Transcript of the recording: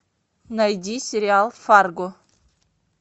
найди сериал фарго